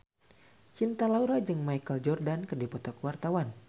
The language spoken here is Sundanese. Cinta Laura jeung Michael Jordan keur dipoto ku wartawan